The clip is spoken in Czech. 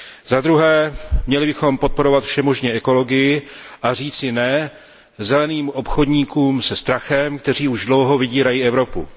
Zadruhé bychom měli podporovat všemožně ekologii a říci ne zeleným obchodníkům se strachem, kteří už dlouho vydírají Evropu.